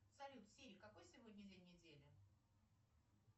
салют сири какой сегодня день недели